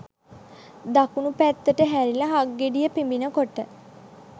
දකුණු පැත්තට හැරිලා හක්ගෙඩිය පිඹින කොට